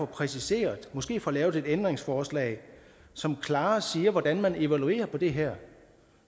præciseret og måske får lavet et ændringsforslag som klarere siger hvordan man evaluerer på det her